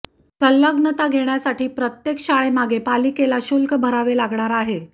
संलग्नता घेण्यासाठी प्रत्येक शाळेमागे पालिकेला शुल्क भरावे लागणार आहे